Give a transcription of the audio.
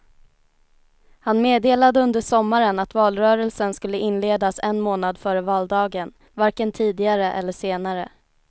Han meddelade under sommaren att valrörelsen skulle inledas en månad före valdagen, varken tidigare eller senare.